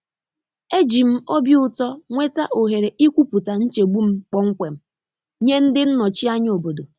E ji m obi ụtọ nweta ohere ikwupụta nchegbu m kpọmkwem nye ndị nnọchi anya obodo.